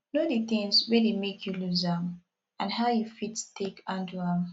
know di things wey dey make you loose am and how you fit take handle am